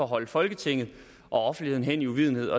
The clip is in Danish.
holdt folketinget og offentligheden hen i uvidenhed